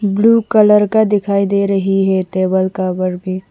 Blue colour का दिखाई दे रही है टेबल का कवर भी।